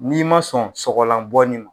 N'i ma sɔn sɔgɔlan bɔ ma